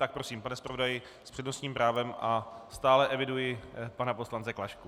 Tak prosím, pan zpravodaj s přednostním právem a stále eviduji pana poslance Klašku.